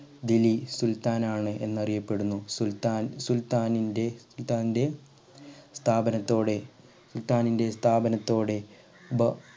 ദില്ലി സുൽത്താൻ ആണ്എന്ന് അറിയപ്പെടുന്നു സുൽത്താൻ സുൽത്താനിന്റെ സുൽത്താന്റെ സ്ഥാപനത്തോടെ സുൽത്താനിന്റെ സ്ഥാപനത്തോടെ ബ